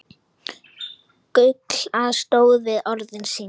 Gulla stóð við orð sín.